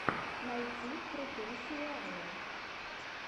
найти крутые сериалы